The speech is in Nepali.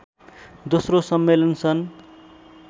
दोस्रो सम्मेलन सन्